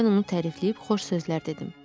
Mən onu tərifləyib xoş sözlər dedim.